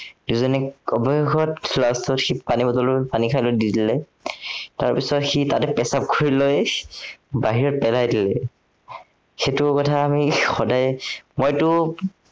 দুইজনে অৱশেষত পানী bottle টো দি দিলে, তাৰপিছত সি তাতে প্ৰসাৱ কৰি লৈ, বাহিৰত পেলাই দিলে। সেইটো কথা আমি সদায়ে মইতো